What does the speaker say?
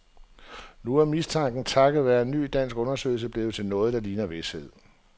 Nu er mistanken takket være en ny dansk undersøgelse blevet til noget, der ligner vished.